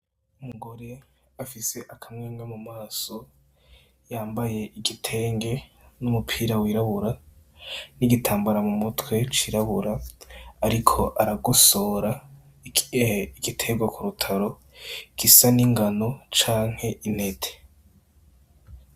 Umugore afise akamwenga mu maso yambaye igitenge n'umupira wirabura n'igitambara mu mutwe cirabura, ariko aragusora igitegwa ku rutaro gisa n'ingano canke intete.